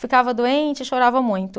Ficava doente, chorava muito.